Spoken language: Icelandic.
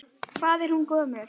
Hvað er hún gömul?